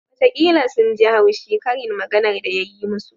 Watakila sun ji haushi karin maganar da ya yi musu